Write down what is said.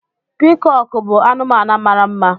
Piikọọkụ bụ anụmanụ mara mma.